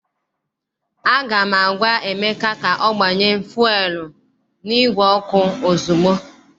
Aga m agwa Emeka ka o gbanye fuelu n' igwe ọkụ ozugbo!